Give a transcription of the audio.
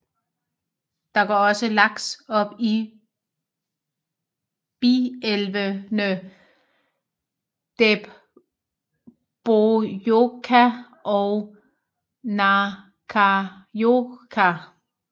Der går også laks op i bielvene Dæbbojohka og Njáhkájohka